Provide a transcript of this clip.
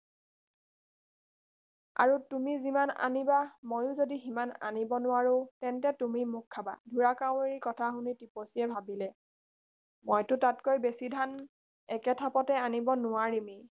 আৰু তুমি যিমান আনিবা ময়ো যদি সিমান আনিব নোৱাৰো তেনে তুমি মোক খাবা ঢোঁৰাকাউৰীৰ কথা শুনি টিপচীয়ে ভাবিলে মইতো তাতকৈ বেছি ধান একে থাপতে আনিব নোৱাৰিমেই